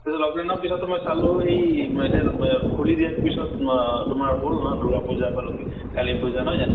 ত ত lockdown ৰ পিছতো মই চালো এই খুলি দিয়াৰ পিছত আহ তোমাৰ হʼল না দুৰ্গা পুজা বা লক্ষী, কালী পুজা নহয় জানো?